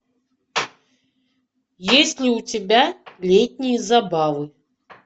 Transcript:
есть ли у тебя летние забавы